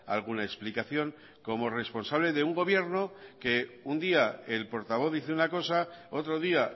alguna explicación como responsable de un gobierno que un día el portavoz dice una cosa otro día